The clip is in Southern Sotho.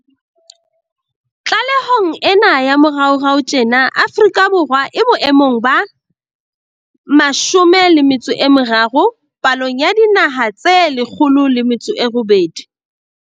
Tlalehong ena ya moraorao tjena Afrika Borwa e bo emong ba 30 palong ya dinaha tse 108.